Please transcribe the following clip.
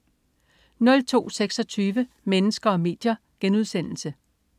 02.26 Mennesker og medier*